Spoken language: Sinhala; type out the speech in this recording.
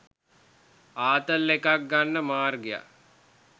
ආතල් එකක් ගන්න මාර්ගයක්